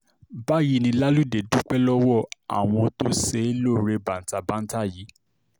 báyìí ni laludé dúpẹ́ lọ́wọ́ àwọn tó ṣe é lóore bàǹtà banta yìí